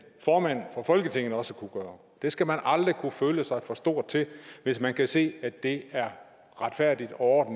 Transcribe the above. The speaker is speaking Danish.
formand for folketinget også kunne gøre det skal man aldrig kunne føle sig for stor til hvis man kan se at det er retfærdigt og